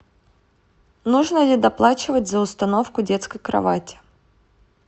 нужно ли доплачивать за установку детской кровати